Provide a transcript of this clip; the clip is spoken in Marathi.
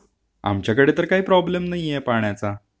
हो आमच्याकडे तर काही प्रॉब्लेम नाहीये पाण्याचा...